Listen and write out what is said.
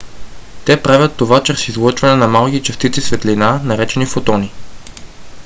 те правят това чрез излъчване на малки частици светлина наречени фотони